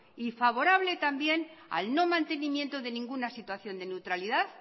y favorable también al no mantenimiento de ninguna situación de neutralidad